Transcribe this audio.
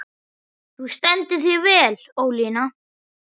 Þú stendur þig vel, Ólína!